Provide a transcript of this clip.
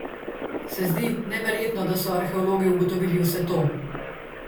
Se zdi neverjetno, da so arheologi ugotovili vse to?